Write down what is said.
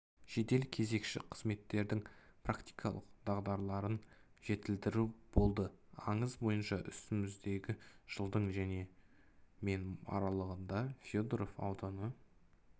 жедел кезекші қызметтердің практикалық дағдыларын жетілдіру болды аңыз бойынша үстіміздегі жылдың мен аралығында федоров ауданы